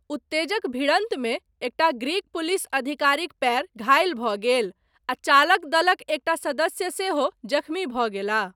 उत्तेजक भिड़न्तमे, एकटा ग्रीक पुलिस अधिकारीक पयर, घाहिल भऽ गेल आ चालक दलक एकटा सदस्य सेहो, जख्मी भऽ गेलाह।